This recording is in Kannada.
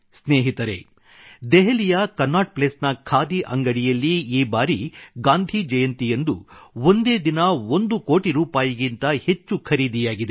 ಸ್ನೇಹಿತರೇ ದೆಹಲಿಯ ಕನ್ನಾಟ್ ಪ್ಲೇಸ್ ನ ಖಾದಿ ಅಂಗಡಿಯಲ್ಲಿ ಈ ಬಾರಿ ಗಾಂಧಿ ಜಯಂತಿಯಂದು ಒಂದೇ ದಿನ ಒಂದು ಕೋಟಿ ರೂಪಾಯಿಗಿಂತ ಹೆಚ್ಚು ಖರೀದಿಯಾಗಿದೆ